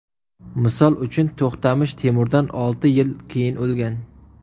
Misol uchun, To‘xtamish Temurdan olti yil keyin o‘lgan.